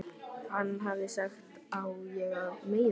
Hann hafi sagt: Á ég að meiða þig?